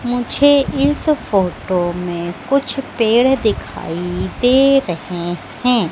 मुझे इस फोटो में कुछ पेड़ दिखाई दे रहे हैं।